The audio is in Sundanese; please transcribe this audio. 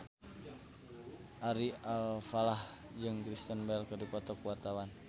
Ari Alfalah jeung Kristen Bell keur dipoto ku wartawan